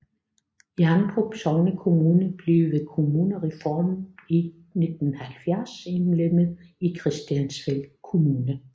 Hjerndrup sognekommune blev ved kommunalreformen i 1970 indlemmet i Christiansfeld Kommune